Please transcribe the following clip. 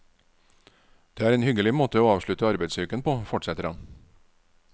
Det er en hyggelig måte å avslutte arbeidsuken på, fortsetter han.